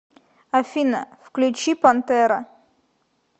афина включи пантера